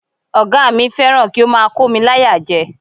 Ọ̀gá mi fẹ́ràn kí ó máa kómi láyà jẹ.